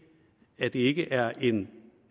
at det ikke er en